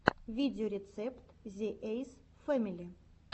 видеорецепт зе эйс фэмили